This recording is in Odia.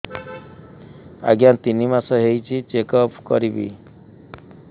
ଆଜ୍ଞା ତିନି ମାସ ହେଇଛି ଚେକ ଅପ କରିବି